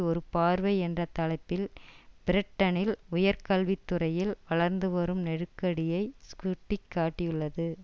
ஒரு பார்வை என்ற தலைப்பில் பிரிட்டனில் உயர்கல்வித்துறையில் வளர்ந்து வரும் நெருக்கடியை சுட்டி காட்டியுள்ளது